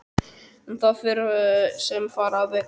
En það fer sem fara vill.